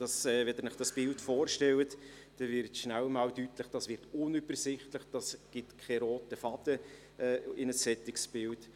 Wenn Sie sich dies bildlich vorstellen, wird rasch einmal deutlich, dass dies unübersichtlich wird und es keinen roten Faden ergibt.